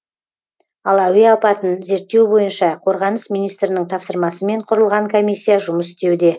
ал әуе апатын зерттеу бойынша қорғаныс министрінің тапсырмасымен құрылған комиссия жұмыс істеуде